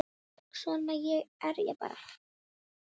Svona er ég bara.